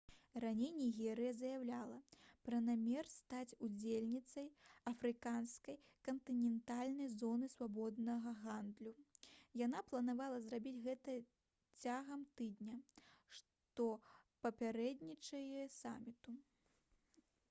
раней нігерыя заяўляла пра намер стаць удзельніцай афрыканскай кантынентальнай зоны свабоднага гандлю яна планавала зрабіць гэта цягам тыдня што папярэднічае саміту